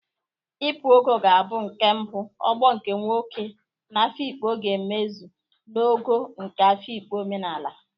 Ipu Ogo ga-abụ nke mbụ ogbo nke nwoke na Afikpo ga-emezu na Ogo nke Afikpo omenala